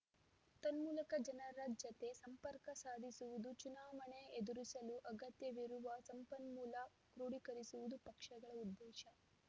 ತನ್ಮೂಲಕ ಜನರ ಜತೆ ಸಂಪರ್ಕ ಸಾಧಿಸುವುದು ಚುನಾವಣೆ ಎದುರಿಸಲು ಅಗತ್ಯವಿರುವ ಸಂಪನ್ಮೂಲ ಕ್ರೋಢೀಕರಿಸುವುದು ಪಕ್ಷಗಳ ಉದ್ದೇಶ